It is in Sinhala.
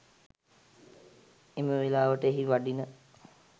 එම වෙලාවට එහි වඩින